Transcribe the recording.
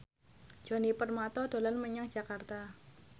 Djoni Permato dolan menyang Jakarta